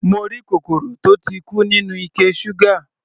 Mo rí kòkòrò tó ti kú nínú ike ṣúgà.